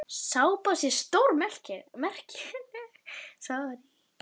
Sápa sé stórmerkileg.